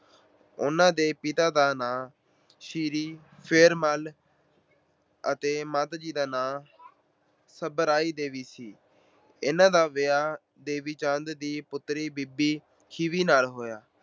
ਉਹਨਾਂ ਦੇ ਪਿਤਾ ਦਾ ਨਾਂ ਸ੍ਰੀ ਫੇਰੂ ਮੱਲ ਅਤੇ ਮਾਤਾ ਦਾ ਨਾਂ ਸਦਰਾਈ ਦੇਵੀ ਸੀ। ਇਹਨਾਂ ਦਾ ਵਿਆਹ ਦੇਵੀ ਚੰਦ ਦੀ ਪੁੱਤਰੀ ਬੀਬੀ ਖੀਵੀ ਨਾਲ ਹੋਇਆ।